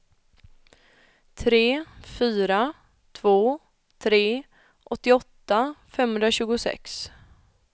tre fyra två tre åttioåtta femhundratjugosex